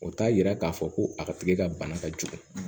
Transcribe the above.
O t'a yira k'a fɔ ko a ka tigɛ ka bana ka jugu